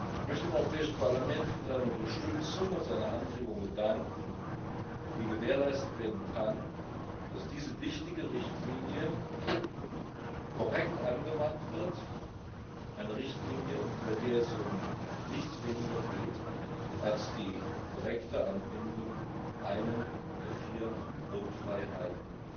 Ich möchte dem Europäischen Parlament für seine Unterstützung und seine Anregungen danken, wie gewährleistet werden kann, dass diese wichtige Richtlinie korrekt angewandt wird, eine Richtlinie, bei der es um nichts weniger geht, als die korrekte Anbindung einer der vier Grundfreiheiten